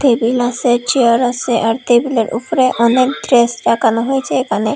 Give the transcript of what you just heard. Table আসে chair আসে আর টেবিলের উপরে অনেক ড্রেস লাগানো হয়েছে এখানে।